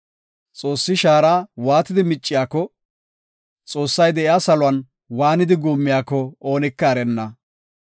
Xoossi shaara waatidi micciyako, Xoossay de7iya saluwan waanidi guummiyako, oonika erenna.